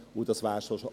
Das war’s auch schon.